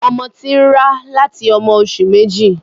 Ọmọ ti n rá láti ọmọ oṣù méjì.